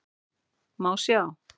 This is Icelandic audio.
Má sjá